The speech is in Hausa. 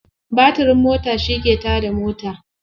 Batirin mota shi ke ta da mota.